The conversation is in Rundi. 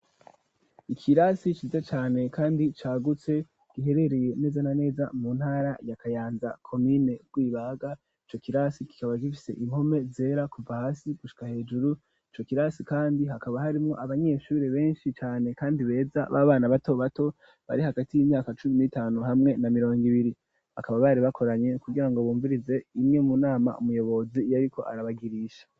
Ikirasi ciza cane kandi cagutse giherereye neza na neza mu ntara ya kayanza komine rwibaga, ico kirasi kikaba gifise impome zera kuva hasi gushika hejuru ico kirasi kandi hakaba harimwo abanyeshure benshi cane kandi beza b'abana bato bato bari hagati y'imyaka cumi n'itanu hamwe na mirongo ibiri bakaba bari bakoranye kugirango bumvirize imwe munama umuyobozi yariko arabagirisha.